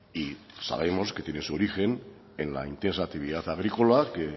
y sabemos que tiene su origen en la intensa actividad agrícola que